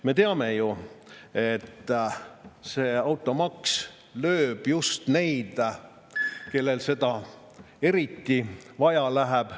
Me teame ju, et automaks lööb just neid, kellel autot eriti vaja läheb.